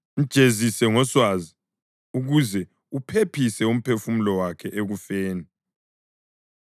Mjezise ngoswazi ukuze uphephise umphefumulo wakhe ekufeni.